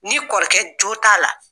Ni kɔrɔkɛ jo t'a la